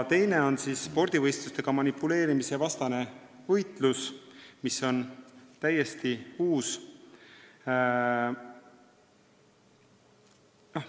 Teine teema on spordivõistlustega manipuleerimise vastane võitlus, mis on täiesti uus teema.